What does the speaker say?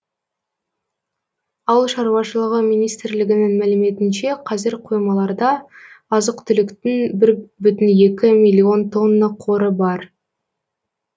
ауыл шаруашылығы министрлігінің мәліметінше қазір қоймаларда азық түліктің бір бүтін екі миллион тонна қоры бар